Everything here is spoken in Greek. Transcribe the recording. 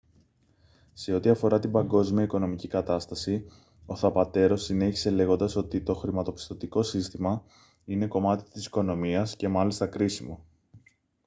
σε ό,τι αφορά την παγκόσμια οικονομική κατάσταση ο θαπατέρο συνέχισε λέγοντας ότι «το χρηματοπιστωτικό σύστημα είναι κομμάτι της οικονομίας και μάλιστα κρίσιμο